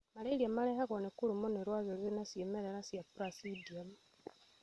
Malaria marehagũo nĩ kũrũmwo nĩ rwagĩ rwĩna cĩimerera cĩa Plasmodiu.